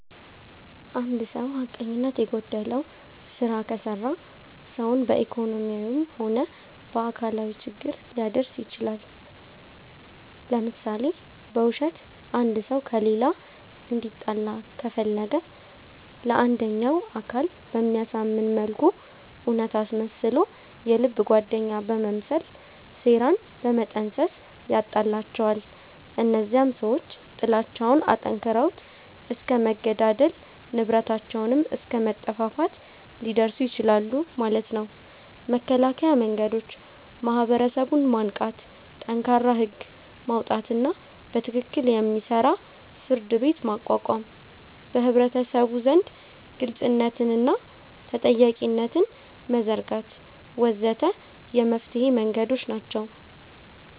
እንድ ሰዉ ሐቀኝነት የጎደለዉ ስራ ከሰራ ሰዉን በኢኮኖሚያዊም ሆነ በአካላዊ ችግር ሊያደርስ ይችላል ለምሳሌ፦ በዉሸት አንድ ሰዉ ከሌላ እንዲጣላ ከፈለገ ለአንደኛዉ አካል በሚያሳምን መልኩ እዉነት አስመስሎ የልብ ጓደኛ በመምሰል ሴራን በመጠንሰስ ያጣላቸዋል እነዚያም ሰዎች ጥላቻዉን አጠንክረዉት እስከ መገዳደል፣ ንብረታቸዉንም አስከ መጠፋፋት ሊደርሱ ይችላሉ ማለት ነዉ። መከላከያ መንገዶች፦ ማህበረሰቡን ማንቃት፣ ጠንካራ ህግ ማዉጣትና በትክክል የሚሰራ ፍርድቤት ማቋቋም፣ በህብረተሰቡ ዘንድ ግልፅነትንና ተጠያቂነትን መዘርጋት ወ.ዘ.ተ የመፍትሔ መንገዶች ናቸዉ።